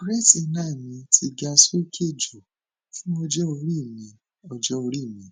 creatinine mi ti ga sókè jù fún ọjọ orí mi ọjọ orí mi